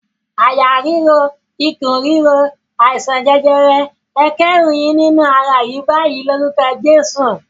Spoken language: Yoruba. "Àyà ríro, ikùn ríro, àìsàn jẹjẹrẹ, ẹ kẹ́rù yín nínú ara yìí báyìí lórúkọ Jésù!"